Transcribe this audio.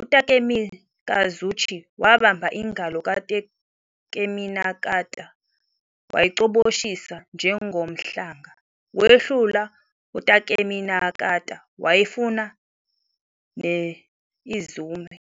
uTakemikazuchi wabamba ingalo kaTakeminakata wayicoboshisa "njengomhlanga," wehlula uTakeminakata wafuna ne-Izumo.